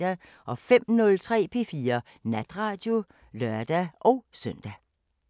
05:03: P4 Natradio (lør-søn)